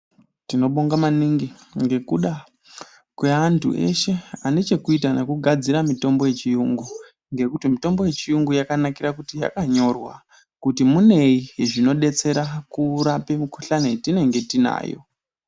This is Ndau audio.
Tinobonga maningi ngekuda kweantu eshe anechekuita nekugadzira mitombo yechiyungu ngekuti mitombo yechiyungu yakanyorwa kuti muneyi zvinodetsera kurape mikuhlani yatinenge tinayo.